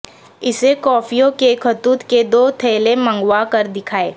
اسے کوفیوں کے خطوط کے دو تھیلے منگوا کر دکھائے